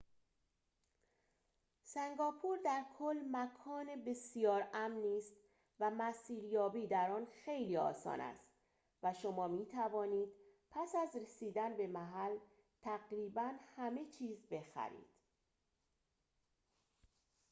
سنگاپور در کل مکان بسیار امنی است و مسیریابی در آن خیلی آسان است و شما می‌توانید پس از رسیدن به محل تقریباً همه چیز بخرید